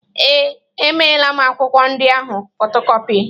Ee, emeela m akwụkwọ ndị ahụ fotokọpi.